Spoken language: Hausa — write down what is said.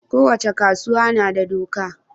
ko wace kasuwa nada doka